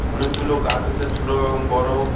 অনেকগুলো গাছ আছে ছোট এবং বড়ো।